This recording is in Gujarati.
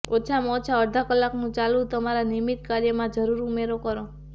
ઓછામાં ઓછા અડધા કલાકનું ચાલવું તમારા નિયમિત કાર્યમાં જરૂર ઉમેરો કરો